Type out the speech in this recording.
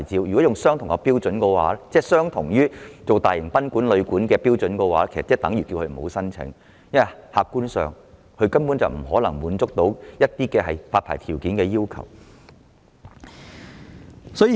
顯而易見，要他們依循大型賓館或旅館的標準申請牌照，其實是叫他們無需申請，因為客觀上他們根本不可能滿足發牌條件或要求。